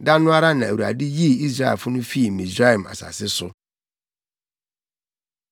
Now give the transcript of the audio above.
Da no ara na Awurade yii Israelfo no fii Misraim asase so.